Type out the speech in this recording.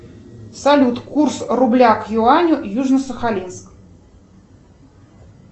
салют курс рубля к юаню южно сахалинск